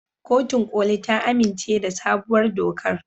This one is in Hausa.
Kotun koli ta amince da sabuwar dokar.